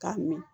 K'a min